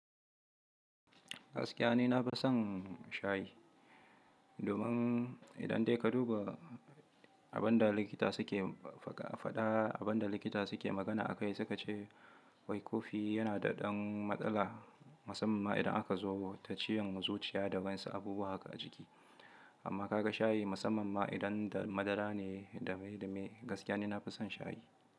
Gaskiya ni na fi son shayi, domin idan dai ka duba abin da likita suke fada, abin da likita suke magana akai, suka ce wai kofi yana da ɗan matsala, musamman idan aka zubo ta ciwon zuciya da wasu abubuwa haka a jiki. Amma ka ga shayi musamman ma idan da madara ne da mai da mai, gaskiya ne na fi son shayi.